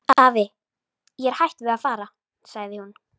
Afi, ég er hætt við að fara sagði hún.